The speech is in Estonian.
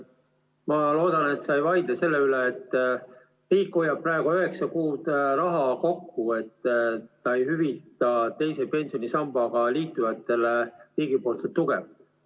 Ma loodan, et sa ei vaidle selle üle, et riik hoiab praegu üheksa kuud raha kokku, kuna ta ei hüvita teise pensionisambaga liitunutele riigipoolset tuge.